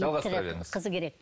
жалғастыра беріңіз